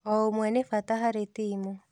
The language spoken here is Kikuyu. O ũmwe nĩ bata harĩ timu.